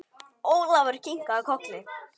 Ólafur kinkaði kolli.